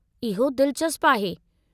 इहो दिलचस्पु आहे।